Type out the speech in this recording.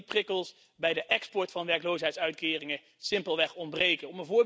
We zien dat die prikkels bij de export van werkloosheidsuitkeringen simpelweg ontbreken.